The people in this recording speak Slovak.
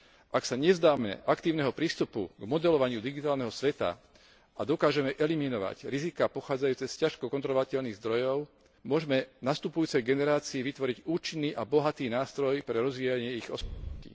Ak sa nevzdáme aktívneho prístupu k modelovaniu digitálneho sveta a dokážeme eliminovať riziká pochádzajúce z ťažko kontrolovateľných zdrojov, môžme nastupujúcej generácii vytvoriť účinný a bohatý nástroj pre rozvíjanie ich osobností.